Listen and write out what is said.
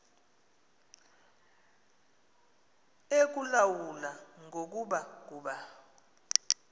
ekulawula ngoku kuba